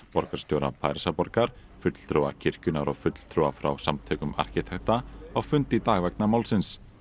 borgarstjóra Parísar fulltrúa kirkjunnar og fulltrúa frá samtökum arkitekta á fund í dag vegna málsins